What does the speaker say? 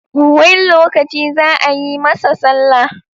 When lokaci zaa yi masa sallah?